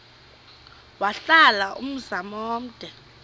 wahlala umzum omde